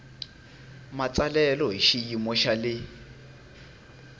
matsalelo hi xiyimo xa le